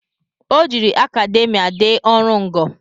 O jiri akademia dee ọrụ ngo